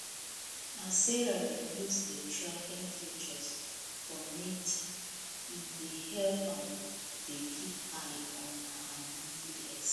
as sarah dey use the tracking feature for mint e dey help am dey keep eye on her monthly expenses